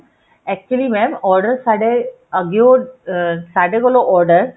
actually mam order ਸਾਡੇ ਅੱਗਿਉ ਅਹ ਸਾਡੇ ਕੋਲ order